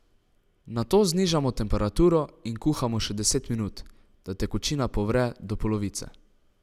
Nato znižamo temperaturo in kuhamo še deset minut, da tekočina povre do polovice.